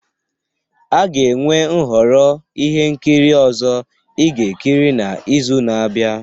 A ga-enwe nhọrọ ihe nkiri ọzọ ị ga-ekiri n'izu na-abịa.